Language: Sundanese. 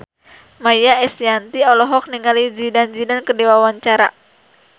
Maia Estianty olohok ningali Zidane Zidane keur diwawancara